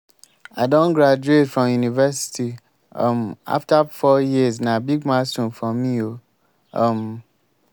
i don graduate from university um afta four years na big milestone for me o. um